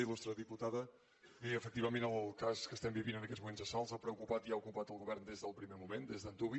il·lustre diputada bé efectivament el cas que estem vivint en aquests moments a salt ha preocupat i ha ocupat el govern des del primer moment des d’antuvi